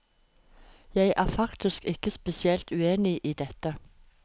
Jeg er faktisk ikke spesielt uenig i dette.